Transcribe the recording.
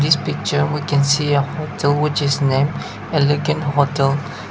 the picture we can see uh hotel which is name elegant hotel.